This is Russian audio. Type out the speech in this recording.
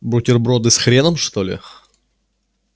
бутерброды с хреном что ли